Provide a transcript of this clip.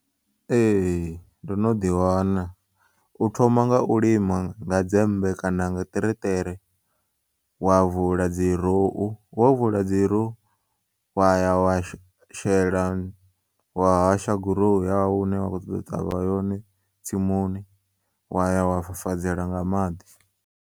Ee, ndono ḓi wana, u thoma nga u lima nga dzembe kana nga ṱereṱere wa vula dzi rou wa vula dzi rou waya wa shela wa hasha gurowu yau ine wa kho ṱoḓa u ṱavha yone tsimuni waya wa fafadzela nga maḓi.